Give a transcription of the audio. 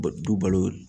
Du balo